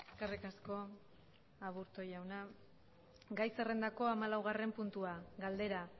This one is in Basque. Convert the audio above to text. eskerrik asko aburto jauna gai zerrendako hamalaugarren puntua galdera